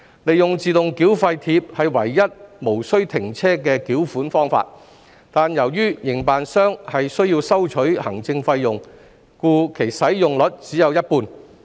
利用自動繳費貼是唯一無須停車的繳款方法，但由於營辦商需收取行政費用，故其使用率只有一半。